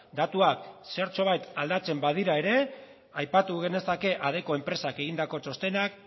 datuak zertxobait aldatzen badira ere aipatu genezake adecco enpresak egindako txostenak